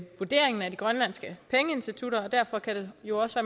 vurderingen af de grønlandske pengeinstitutter og derfor kan det jo også